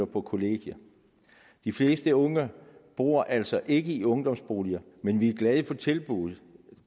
på kollegie de fleste unge bor altså ikke i ungdomsboliger men vi er glade for at tilbuddet